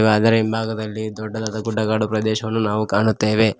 ಅದರ ಹಿಂಭಾಗದಲ್ಲಿ ದೊಡ್ಡ ದೊಡ್ಡ ಗುಡ್ಡಗಾಡು ಪ್ರದೇಶವನ್ನು ನಾವು ಕಾಣುತ್ತೇವೆ.